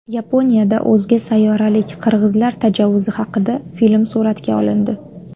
Yaponiyada o‘zga sayyoralik qirg‘izlar tajovuzi haqida film suratga olindi.